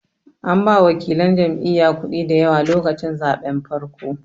An ba wakilan jam'iya kuɗi dayawa lokacin zaɓen farkon